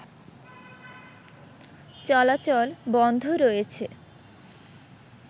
চলাচল বন্ধ রয়েছে